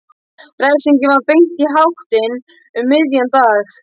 Refsingin var beint í háttinn um miðjan dag.